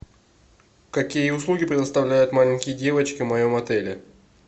какие услуги предоставляют маленькие девочки в моем отеле